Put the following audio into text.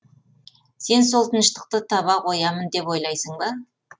сен сол тыныштықты таба қоямын деп ойлайсың ба